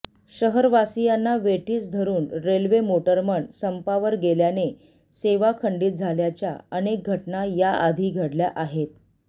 शहवासीयांना वेठीस धरून railway motorman संपावर गेल्याने सेवा खंडित झाल्याच्या अनेक घटना याआधी घडल्या आहेत